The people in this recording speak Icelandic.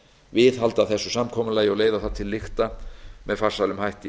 viðhalda þessu samkomulagi og leiða það til lykta með farsælum hætti